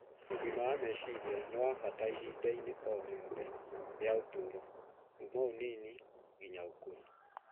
Ũgima wa meciria nĩ wa bata ihinda-inĩ rĩothe rĩa ũtũũro, kuuma ũnini nginya ũkũrũ.